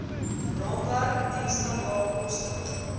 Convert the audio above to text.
raamwerk diensstandaard koste